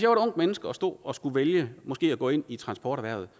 ungt menneske og stod og skulle vælge måske at gå ind i transporterhvervet